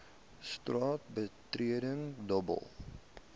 straat betreding dobbel